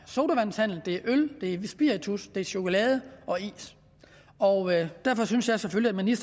sodavandshandel det er øl det er spiritus det er chokolade og is og derfor synes jeg selvfølgelig